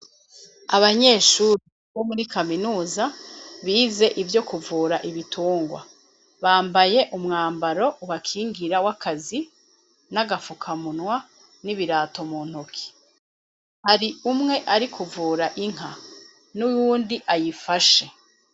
Abanyeshure bo muri kaminuza bize ivyo kuvura ibitungwa bambaye umwambaro wakingira w'akazi n'agafukamunwa n'ibirato mu ntuki hari umwe ari kuvura inka n'uwundi ayifashe.